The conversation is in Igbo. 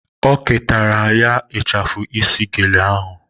O ketara ya ịchafụ isi gele ahụ